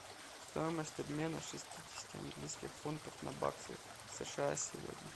стоимость обмена шестидесяти английских фунтов на баксы сша сегодня